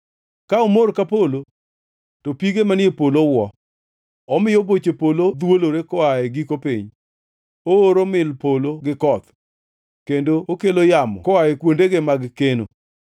Ka omor ka polo, to pige manie polo wuo; omiyo boche polo dhwolore koa e giko piny. Ooro mil polo gi koth, kendo okelo yamo koa e kuondege mag keno.